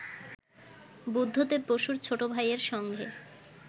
বুদ্ধদেব বসুর ছোট ভাইয়ের সঙ্গে